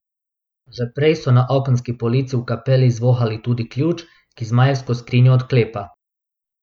Že prej so na okenski polici v kapeli izvohali tudi ključ, ki zmajevsko skrinjo odklepa.